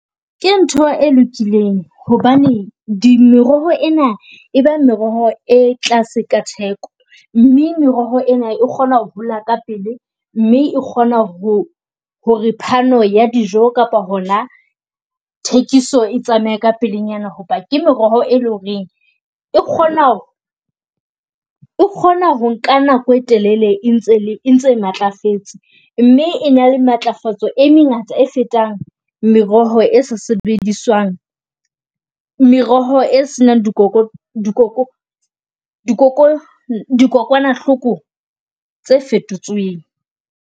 Ke ntho e lokileng hobane di meroho ena, e ba meroho e tlase ka theko mme meroho ena e kgona ho hola ka pele mme e kgona ho hore phano ya dijo kapa hona thekisoe tsamaye ka pelenyana. Hoba ke meroho, e leng hore e kgona, e kgona ho nka nako e telele e ntse e ntse matlafetse. Mme e na le matlafatso e mengata e fetang meroho e se sebediswang meroho e seng dikokwanahloko tse fetotsoeng.